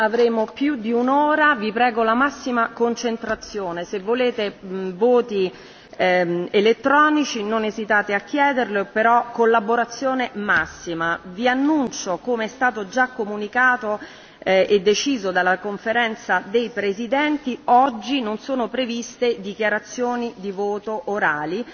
Avremo più di un'ora, vi prego la massima concentrazione. Se volete votazioni elettroniche, non esitate a chiederlo, però collaborazione massima. Vi annuncio, come è stato già comunicato e deciso dalla Conferenza dei presidenti, che oggi non sono previste dichiarazioni di voto orali,